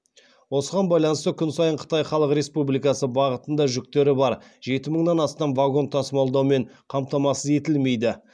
осыған байланысты күн сайын қытай халық республикасы бағытында жүктері бар жеті мыңнан астам вагон тасымалдаумен қамтамасыз етілмейді